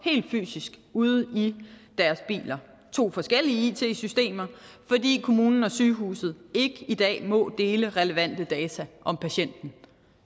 ude i deres biler og to forskellige it systemer fordi kommunen og sygehuset ikke i dag må dele relevante data om patienten